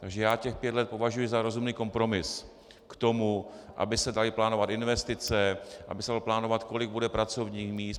Takže já těch pět let považuji za rozumný kompromis k tomu, aby se daly plánovat investice, aby se dalo plánovat, kolik bude pracovních míst.